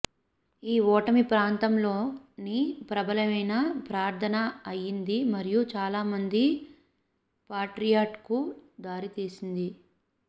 ఈ ఓటమి ప్రాంతంలోని ప్రబలమైన ప్రార్థన అయ్యింది మరియు చాలామంది పాట్రియాట్ కు దారితీసింది